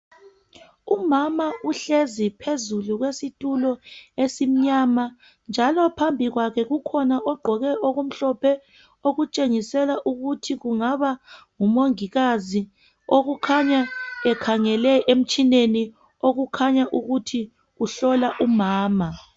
umama uhlezi phezulu kwesitulo esimnyama njalo phambi kwakhe kukhona ogqoke okumhlophe okutshengisela ukuthi kungaba ngumongikazi okukhanya ekhangele emtshineni okukhanya ukuthi uhlola umama